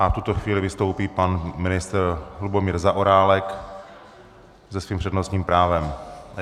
V tuto chvíli vystoupí pan ministr Lubomír Zaorálek se svým přednostním právem.